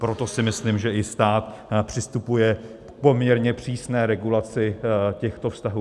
Proto si myslím, že i stát přistupuje k poměrně přísné regulaci těchto vztahů.